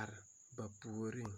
are ba puoriŋ.